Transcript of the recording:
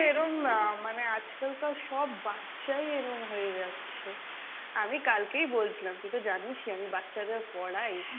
এরম আহ মানে আজকালকার সব বাচ্চাই এরম হয়ে যাচ্ছে, আমি কালকেই বলছিলাম তুই তো জানিসই আমি বাচ্চাদের পড়াই।